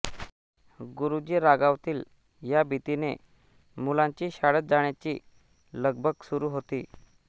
गुरुजी रागावतील या भीतीने मुलांची शाळेत जाण्याची लगबग सुरू होती